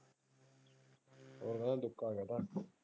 ਦੁੱਕਾ ਹੋਗਿਆ ਤਾ।